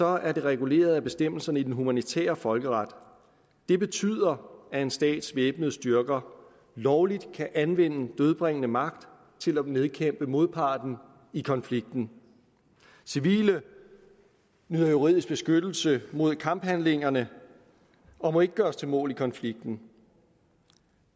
er det reguleret af bestemmelserne i den humanitære folkeret det betyder at en stats væbnede styrker lovligt kan anvende dødbringende magt til at nedkæmpe modparten i konflikten civile nyder juridisk beskyttelse mod kamphandlingerne og må ikke gøres til mål i konflikten